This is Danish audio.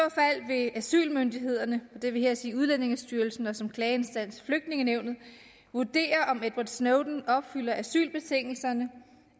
vil asylmyndighederne og det vil her sige udlændingestyrelsen og som klageinstans flygtningenævnet vurdere om edward snowden opfylder asylbetingelserne